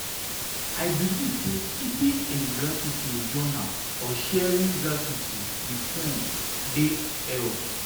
i believe say keeping a gratitude journal or sharing gratitude with a friend dey help.